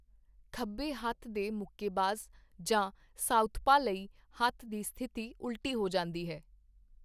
ਖੱਬੇ ਹੱਥ ਦੇ ਮੁੱਕੇਬਾਜ਼ ਜਾਂ 'ਸਾਊਥਪਾ' ਲਈ ਹੱਥ ਦੀ ਸਥਿਤੀ ਉਲਟੀ ਹੋ ਜਾਂਦੀ ਹੈ।